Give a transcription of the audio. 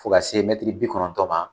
Fɔ ka se mɛtiri bi kɔnɔtɔ ma.